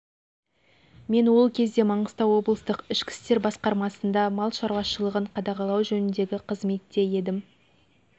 мен ол кезде маңғыстау облыстық ішкі істер басқармасында мал шаруашылығын қадағалау жөніндегі қызметте едім